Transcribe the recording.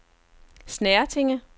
Snertinge